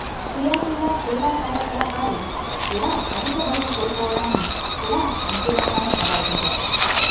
క్రియాశీల క్రీడా కార్యకలాపాలు కూడా అధిక బరువు కోల్పోవడాన్ని కూడా అనుకూలంగానే ప్రభావితం చేస్తాయి